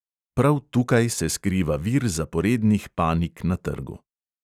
Prav tukaj se skriva vir zaporednih panik na trgu.